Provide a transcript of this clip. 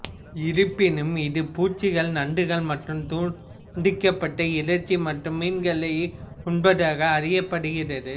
இருப்பினும் இது பூச்சிகள் நண்டுகள் மற்றும் துண்டிக்கப்பட்ட இறைச்சி மற்றும் மீன்களையும் உண்பதாக அறியப்படுகிறது